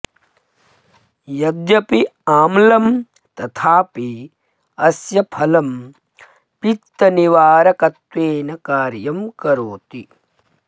यद्यपि आम्लं तथापि अस्य फलं पित्तनिवारकत्वेन कार्यं करोति